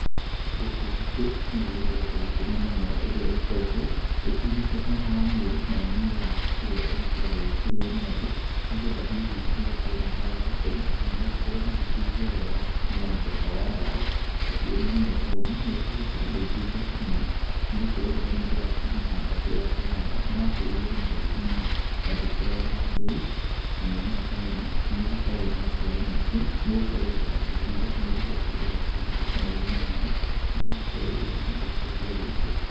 Gũkũ gwitũ, no gũgĩkoretwo gũkĩrĩ na mĩmera ĩrĩa ĩgĩkoretwo ĩkĩumĩte mwena wa Mĩrũ, nayo nĩ mĩraa, ĩrĩa ĩgĩkoragwo ĩgĩkĩrĩo nĩ andũ, nĩgetha hihi magĩkorwo matagũgĩkoma kana magĩkorwo magĩkĩigua wega, no mũthemba wa ndawa, nacio mĩmera ta ĩno nĩĩkĩhete andũ aingĩ mbeca mũno, nĩgũkorwo rĩrĩa mũndũ akĩmĩhanda kũrĩa akĩhanda, nĩyakĩrĩirwo nĩ andũ aingĩ mũno na ndĩkĩagaga mbei, na mĩmera ta ĩno nĩĩgĩkoragwo na maciaro maingĩ, nĩgũkorwo rĩrĩa yagĩtuuo, nĩĩgĩcokaga igakĩguthũka na ihenya mũno, negagĩkorwo rĩu mũndũ nĩegũkĩendia rĩngĩ.